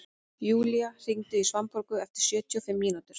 Julia, hringdu í Svanborgu eftir sjötíu og fimm mínútur.